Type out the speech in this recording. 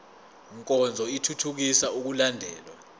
nkonzo ithuthukisa ukulandelwa